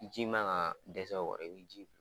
Ji ma ka dɛsɛ bɛ ji.